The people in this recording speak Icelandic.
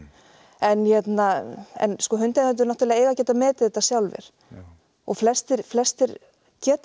en hérna en sko hundeigendur eiga að geta metið þetta sjálfir og flestir flestir geta